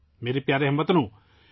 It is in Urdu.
میرے پیارے ہم وطنو،